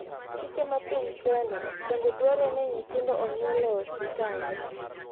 Chike mapiny Kenya bende dwaro ni nyithindo onyuol e osiptande.